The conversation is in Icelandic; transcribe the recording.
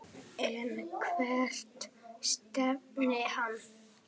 En hvert stefnir hann?